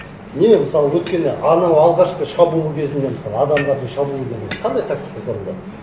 неге мысалы өткенде анау алғашқы шабуыл кезінде мысалы адамдардың шабуылы келді қандай тактика қолданды